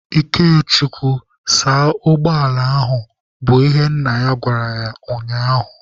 Ikechukwu saa ụgbọala ahụ! bụ ihe nna ya gwara ya ụnyaahụ.